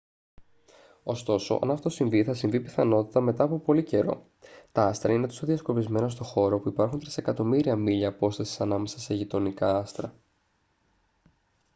ωστόσο αν αυτό συμβεί θα συμβεί πιθανότατα μετά από πολύ καιρό. τα άστρα είναι τόσο διασκορπισμένα στο χώρο που υπάρχουν τρισεκατομμύρια μίλια απόστασης ανάμεσα σε «γειτονικά» άστρα